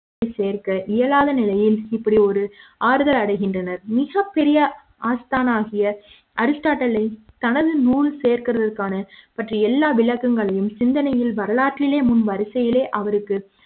சேர்க்க இயலாத நிலையில் இப்படி ஒரு ஆறுதல் அடைகின்றனர் மிக பெரிய ஆஸ்தான் ஆகிய அரிஸ்ட்டாட்டில் தனது நூல் சேர்ப்பதற்கான பற்றி எல்லா விளக்கங்களையும் சிந்தனைகள் வரலாற்றிலேயே முன் வரிசையிலே அவருக்கு